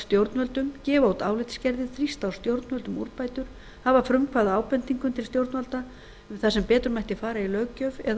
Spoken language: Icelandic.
stjórnvöldum gefa út álitsgerðir þrýsta á stjórnvöld um úrbætur hafa frumkvæði að ábendingum til stjórnvalda um það sem betur mætti fara í löggjöf eða á